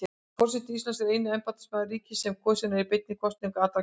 Forseti Íslands er eini embættismaður ríkisins sem kosinn er beinni kosningu allra kjósenda.